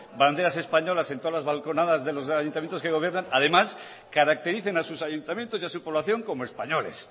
banderas españolas en todas las balconadas de los ayuntamientos que gobiernan además caractericen a sus ayuntamientos y a su población como españoles